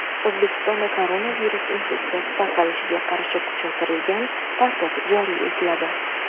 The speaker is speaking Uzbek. O‘zbekistonda koronavirus infeksiyasi tarqalishiga qarshi kuchaytirilgan tartib joriy etiladi.